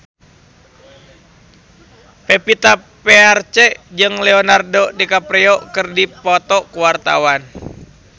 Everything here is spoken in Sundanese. Pevita Pearce jeung Leonardo DiCaprio keur dipoto ku wartawan